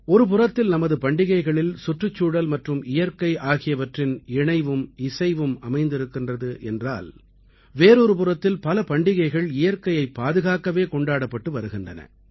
ஒருபுறத்தில் நமது பண்டிகைகளில் சுற்றுச்சூழல் மற்றும் இயற்கை ஆகியவற்றின் இணைவும் இசைவும் அமைந்திருக்கின்றது என்றால் வேறொரு புறத்தில் பல பண்டிகைகள் இயற்கையைப் பாதுகாக்கவே கொண்டாடப்பட்டு வருகின்றன